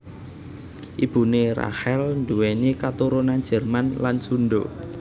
Ibuné Rachel nduwèni katurunan Jerman lan Sundha